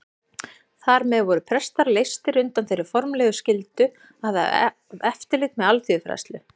Þar með voru prestar leystir undan þeirri formlegu skyldu að hafa eftirlit með alþýðufræðslu.